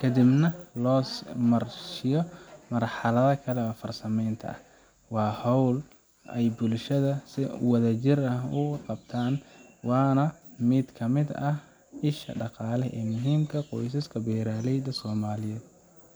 ka dibna loo sii marsiiyo marxaladaha kale ee farsamaynta. Waa hawl ay bulshada si wadajir ah uga qeyb qaadato, waana mid ka mid ah isha dhaqaale ee muhiimka ah ee qoysaska beeraleyda soamliyeed.